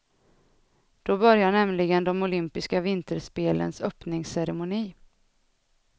Då börjar nämligen de olympiska vinterspelens öppningsceremoni.